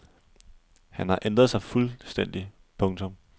Han har ændret sig fuldstændig. punktum